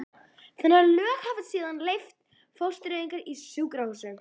þannig að lög hafa síðan leyft fóstureyðingar í sjúkrahúsum.